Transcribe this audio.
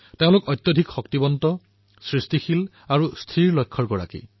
তেওঁলোক অত্যাধিক প্ৰাণৱন্ত উদ্ভাৱনী আৰু লক্ষ্য নিৰ্ধাৰণযুক্ত বয়